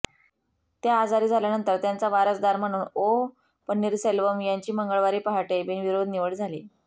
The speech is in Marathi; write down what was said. त्या आजारी झाल्यानंतर त्यांचा वारसदार म्हणून ओ पन्नीरसेल्वम यांची मंगळवारी पहाटे बिनविरोध निवड झाली